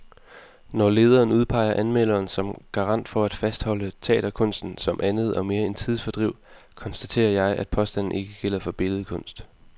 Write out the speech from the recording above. Når lederen udpeger anmelderen som garant for at fastholde teaterkunsten som andet og mere end tidsfordriv, konstaterer jeg, at påstanden ikke gælder for billedkunst.